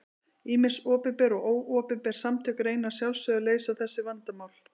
Ýmis opinber og óopinber samtök reyna að sjálfsögðu að leysa þessu vandamál.